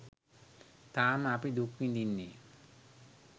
තාම අපි දුක් විදින්නේ.